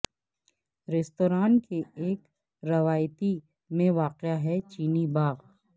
restaurant کے ایک روایتی میں واقع ہے چینی باغ